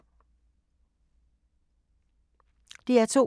DR2